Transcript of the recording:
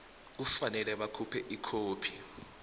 kufanele bakhuphe ikhophi